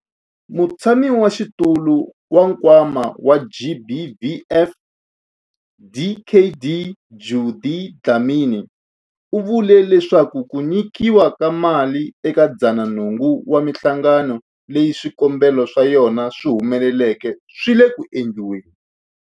Mutshamaxitulu wa Nkwama wa GBVF, Dkd Judy Dlamini, u vule leswaku ku nyikiwa ka mali eka 108 wa mihlangano leyi swikombelo swa yona swi humeleleke swi le ku endliweni.